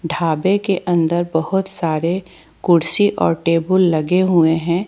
ढाबे के अंदर बहोत सारे कुर्सी और टेबुल लगे हुए हैं।